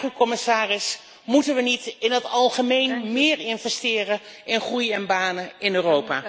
Maar ik vraag u, commissaris, moeten we niet in het algemeen meer investeren in groei en banen in Europa?